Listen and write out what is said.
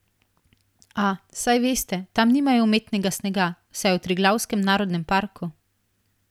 A, saj veste, tam nimajo umetnega snega, saj je v Triglavskem narodnem parku.